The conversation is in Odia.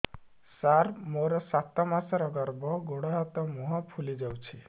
ସାର ମୋର ସାତ ମାସର ଗର୍ଭ ଗୋଡ଼ ହାତ ମୁହଁ ଫୁଲି ଯାଉଛି